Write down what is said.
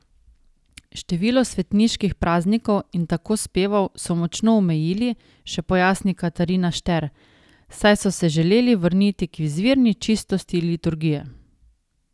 Število svetniških praznikov in tako spevov so močno omejili, še pojasni Katarina Šter, saj so se želeli vrniti k izvirni čistosti liturgije.